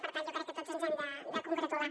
i per tant jo crec que tots ens n’hem de congratular